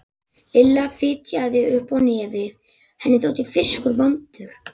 Lilla fitjaði upp á nefið, henni þótti fiskur vondur.